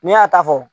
N'i y'a ta fɔ